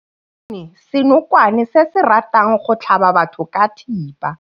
Re bone senokwane se se ratang go tlhaba batho ka thipa.